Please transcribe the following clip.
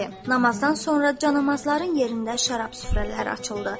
Namazdan sonra canamazların yerində şərab süfrələri açıldı.